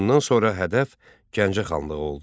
Bundan sonra hədəf Gəncə xanlığı oldu.